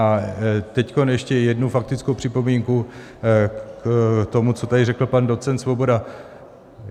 A teď ještě jednu faktickou připomínku k tomu, co tady řekl pan docent Svoboda.